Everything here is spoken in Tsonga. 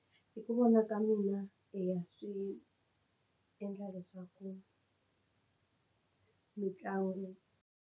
Hi ku vona ka mina i ya swi endla leswaku mitlangu.